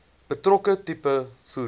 betrokke tipe voertuig